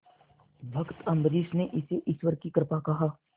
भक्त अम्बरीश ने इसे ईश्वर की कृपा कहा